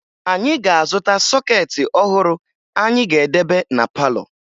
Anyị ga-azụta sọkeetị ọhụrụ anyị ga-edebe na palọ